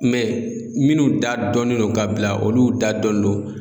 minnu da dɔnnen don ka bila olu da dɔnnen do.